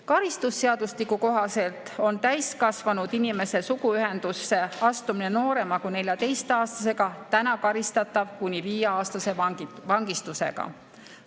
Karistusseadustiku kohaselt on täiskasvanud inimese suguühendusse astumine noorema kui 14‑aastasega täna karistatav kuni viieaastase vangistusega.